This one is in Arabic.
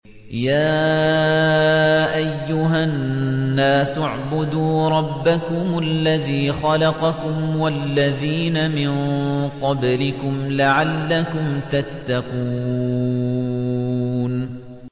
يَا أَيُّهَا النَّاسُ اعْبُدُوا رَبَّكُمُ الَّذِي خَلَقَكُمْ وَالَّذِينَ مِن قَبْلِكُمْ لَعَلَّكُمْ تَتَّقُونَ